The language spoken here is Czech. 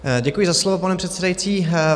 Děkuji za slovo, pane předsedající.